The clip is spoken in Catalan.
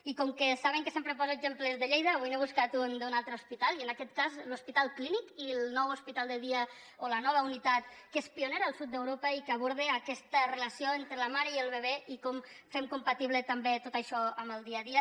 i com que saben que sempre poso exemples de lleida avui n’he buscat un d’un altre hospital i en aquest cas de l’hospital clínic i el nou hospital de dia o la nova unitat que és pionera al sud d’europa i que aborda aquesta relació entre la mare i el bebè i com fem compatible també tot això amb el dia a dia